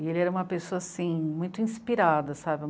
E ele era uma pessoa, assim, muito inspirada, sabe?